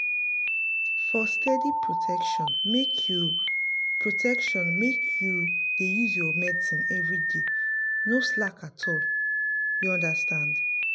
for steady protection make you protection make you dey use your medicine everyday no slack at all. you understand.